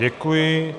Děkuji.